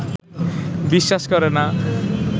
বিশ্বাস করে না